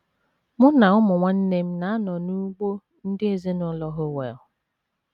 Mụ na ụmụ nwanne nne m na - anọ n’ugbo ndị ezinụlọ Howell.